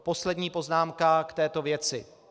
Poslední poznámka k této věci.